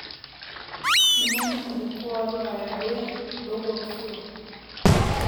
nĩ mũena ũrikũ wa rũraya rwĩ rũguru biũ